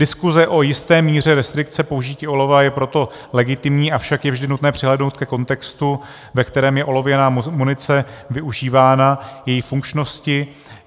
Diskuse o jisté míře restrikce použití olova je proto legitimní, avšak je vždy nutné přihlédnout ke kontextu, ve kterém je olověná munice využívána, její funkčnosti.